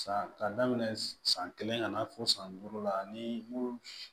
San ka daminɛ san kelen ka na fo san duuru la ni